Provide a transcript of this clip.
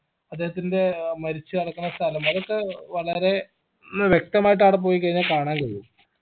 അദ്ദേഹത്തിൻറെ മരിച്ച് കെടക്കണ സ്ഥലം അതൊക്കെ വളരെ വ്യക്തമായിട്ട് ആട പോയിക്കയിനാൽ കാണാനുള്ളൂ